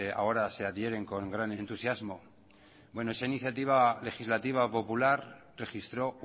ahora se adhieren con gran entusiasmo bueno esa iniciativa legislativa popular registró